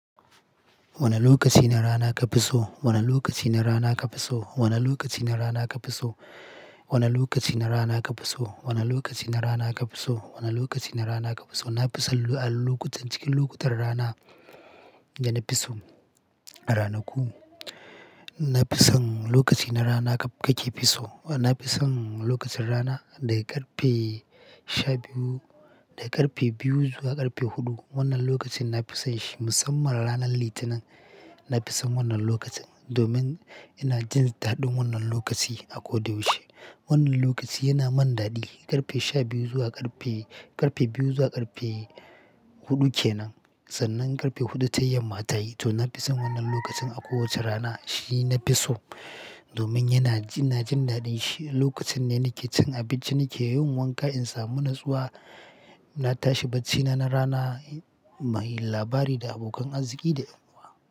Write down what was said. Wane lokaci na rana kafi so? Wane lokaci na rana kafi so? Wane lokaci na rana kafi so? Wane lokaci na rana kafi so? Wane lokaci na rana kafi so? Wane lokaci na rana kafi so? Na fi son a lokutan cikin lokutar rana da na fi so a ranaku. Na fi son lokaci na rana kake fi so. Na fi son lokacin rana daga ƙarfe sha biyu, daga ƙarfe biyu zuwa ƙarfe huɗu. Wannan lokacin na fi son shi musamman ranar Litinin. Na fi son wannan lokacin domin ina jin daɗin wannan lokaci a ko da yaushe. Wannan lokaci yana mun daɗi, ƙarfe sha biyu zuwa ƙarfe, ƙarfe biyu zuwa ƙarfe huɗu kenan. Sannan ƙarfe huɗu ta yamma ta yi, to na fi son wannan lokacin a kowace rana. Shi na fi so domin yana, ina jin daɗin shi. Lokacin ne nake cin abinci, nake yin wanka in samu nutsuwa. Na tashi bacina na rana, muyi labari da abokan arziki da ƴan uwa.